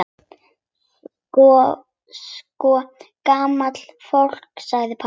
Sko gamla fólkið sagði pabbi.